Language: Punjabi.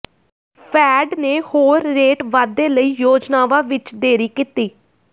ਫੈਡ ਨੇ ਹੋਰ ਰੇਟ ਵਾਧੇ ਲਈ ਯੋਜਨਾਵਾਂ ਵਿੱਚ ਦੇਰੀ ਕੀਤੀ